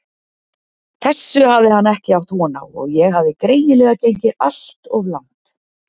Þessu hafði hann ekki átt von á og ég hafði greinilega gengið allt of langt.